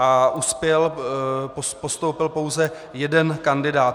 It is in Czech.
Uspěl, postoupil pouze jeden kandidát.